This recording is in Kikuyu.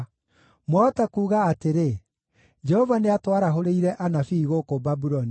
Mwahota kuuga atĩrĩ, “Jehova nĩatwarahũrĩire anabii gũkũ Babuloni,”